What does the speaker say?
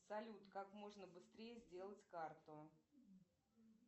салют как можно быстрее сделать карту